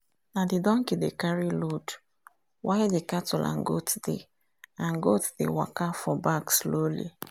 na the dockey dey carry load while the cattle and goat dey and goat dey waka for back slowly.